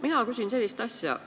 Mina küsin sellist asja.